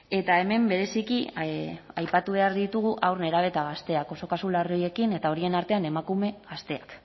eta hemen bereziki aipatu behar ditugu haur nerabe eta gazteak oso kasu larriekin eta horien artean emakume gazteak